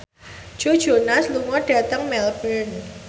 Joe Jonas lunga dhateng Melbourne